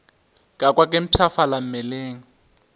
ka kwa ke mpshafala mmeleng